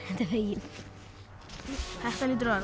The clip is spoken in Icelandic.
þetta er veginn þetta hlýtur að